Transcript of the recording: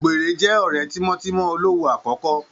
Ògbèré jẹ́ ọ̀rẹ́ tímọ́tímọ́ Olówu àkọ́kọ́